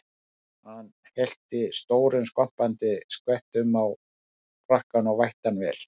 Hann hellti stórum skvampandi skvettum á frakkann og vætti hann vel.